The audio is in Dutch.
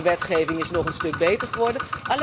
De wetgeving is nu nog een stuk beter geworden.